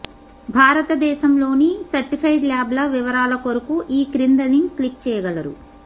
భారతదేశంలోని సర్టిఫైడ్ ల్యాబ్ల వివరాల కొరకు ఈ క్రింద లింక్ క్లిక్ చెయ్యగలరు